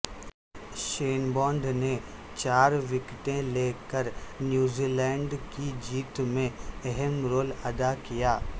شین بانڈ نےچار وکٹیں لےکر نیوزی لینڈ کی جیت میں اہم رول ادا کیا